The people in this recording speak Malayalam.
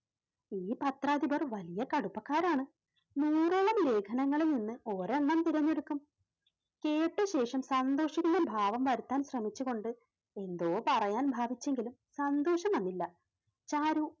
ഈ പത്രാധിപർ വലിയ കടുപ്പക്കാരാണ് നൂറോളം ലേഖനങ്ങളിൽ നിന്ന് ഒരെണ്ണം തിരഞ്ഞെടുക്കും. കേട്ടശേഷം സന്തോഷിക്കുന്ന ഭാവം വരുത്താൻ ശ്രമിച്ചുകൊണ്ട് എന്തോ പറയാൻ ഭാവിച്ചെങ്കിലും സന്തോഷം വന്നില്ല. ചാരു